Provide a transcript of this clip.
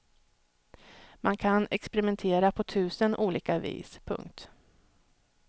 Man kan experimentera på tusen olika vis. punkt